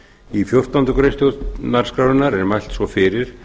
í fjórtándu greinar stjórnarskrárinnar er mælt svo fyrir